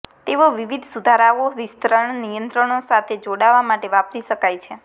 તેઓ વિવિધ સુધારાઓ વિસ્તરણ નિયંત્રકો સાથે જોડાવા માટે વાપરી શકાય છે